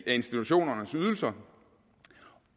institutionernes ydelser